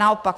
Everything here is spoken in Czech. Naopak.